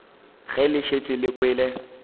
ge le šetše le kwele